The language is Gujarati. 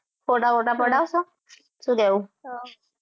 ફોટા બોટા પડાવશો શું કહેવું